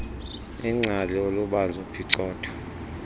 ingcali olubanzi uphicotho